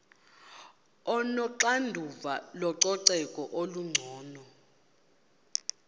onoxanduva lococeko olungcono